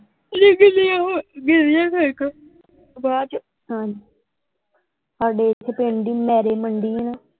ਗਿੱਲੀਆਂ ਹੋਣ ਗਿੱਲੀਆਂ ਕਣਕਾਂ ਬਾਅਦ ਚੋ ਹਾਂਜੀ ਸਾਡੇ ਐਥੇ ਪਿੰਡ ਹੀ ਮੰਡੀ ਆ ਨਾ।